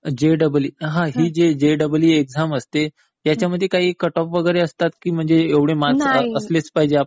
हां जी. तर ही जी जे डबल ई एक्साम द्यावी लागते, त्याच्यात काही कट ऑफ वगैरे असतात की एवढे मार्क्स असलेच पाहिजेत वगैरे?